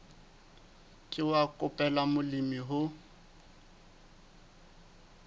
ke wa qobella molemi ho